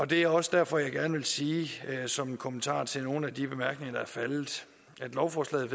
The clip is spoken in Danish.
det er også derfor jeg gerne vil sige som en kommentar til nogle af de bemærkninger der er faldet at lovforslaget